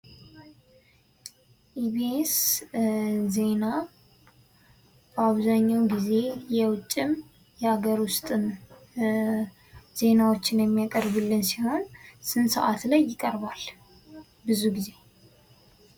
ኢቢኤስ ዜና በአብዛኛውን ጊዜ የውጭ ዜና የሀገር ውስጥም ዜናዎችን የሚያቀርቡልን ሲሆን ስንት ሰዓት ላይ ይቀርባል ብዙ ጊዜ?